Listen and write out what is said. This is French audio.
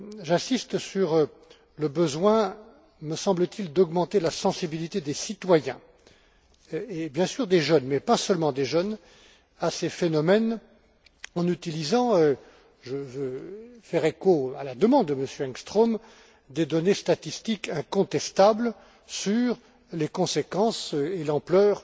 J'insiste sur le besoin, me semble t il, d'augmenter la sensibilité des citoyens, bien sûr des jeunes mais pas seulement des jeunes à ces phénomènes en utilisant je veux faire écho à la demande de M. Engström des données statistiques incontestables sur les conséquences et l'ampleur